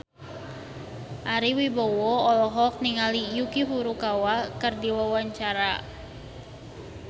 Ari Wibowo olohok ningali Yuki Furukawa keur diwawancara